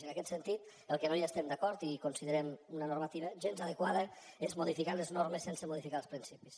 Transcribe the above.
i en aquest sentit amb el que no estem d’acord i considerem una normativa gens adequada és modificar les normes sense modificar els principis